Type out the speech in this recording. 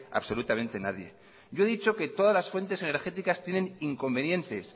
absolutamente nadie yo he dicho que todas las fuentes energéticas tienen inconvenientes